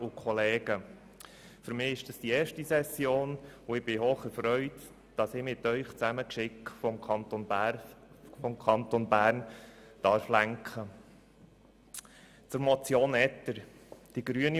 Für mich ist es die erste Session, und ich bin hocherfreut, dass ich mit Ihnen zusammen die Geschicke des Kantons Bern lenken darf.